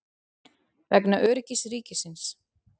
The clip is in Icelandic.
Vegna öryggis ríkisins.